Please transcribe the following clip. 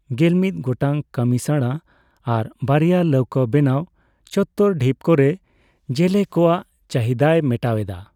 ᱜᱮᱞᱢᱤᱫ ᱜᱚᱴᱟᱝ ᱠᱟᱹᱢᱤᱥᱟᱬᱟ ᱟᱨ ᱵᱟᱨᱭᱟ ᱞᱟᱹᱣᱠᱟᱹᱼ ᱵᱮᱱᱟᱣ ᱪᱚᱛᱛᱚᱨ ᱰᱷᱤᱯ ᱠᱚᱨᱮ ᱡᱮᱞᱮ ᱠᱚᱣᱟᱜ ᱪᱟᱹᱦᱤᱫᱟᱭ ᱢᱮᱴᱟᱣ ᱮᱫᱟ ᱾